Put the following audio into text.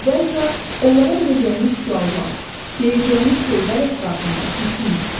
əvvəlcə onlara verəcəyiniz suallar, deyəcəyiniz sözlər ətrafında düşünün.